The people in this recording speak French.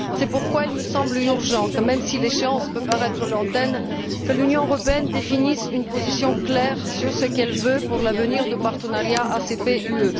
C'est pourquoi il me semble urgent, même si l'échéance peut paraître lointaine, que l'Union européenne définisse une position claire sur ce qu'elle veut pour l'avenir de partenariat ACP UE.